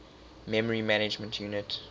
memory management unit